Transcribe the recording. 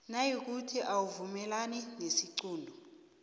nayikuthi awuvumelani nesiqunto